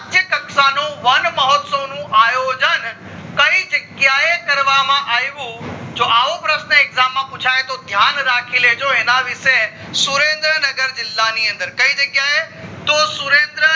રાષ્ટ્ર કક્ષા નો વનમહોત્સવ નું આયોજન કઈ જગ્યાએ કરવામાં આવ્યું જો આવો પ્રશ્ન exam માં પુછાય તો ધ્યાન રાખી લેજો એના વિશેય સુરેન્દ્રનગર જીલ્લા ની અંદર કય જગ્યા એ? તો સુરેન્દ્રનગર